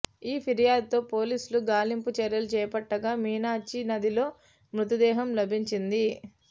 ఈ ఫిర్యాదుతో పోలీసులు గాలింపు చర్యలు చేపట్టగా మీనాచి నదిలో మృతదేహం లభించింది